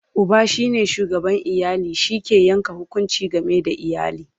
Uba shine shugaban iyali, shi ke Yanke hukunci game da iyali